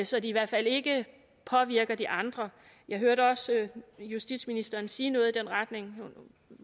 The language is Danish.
så de i hvert fald ikke påvirker de andre jeg hørte også justitsministeren sige noget i den retning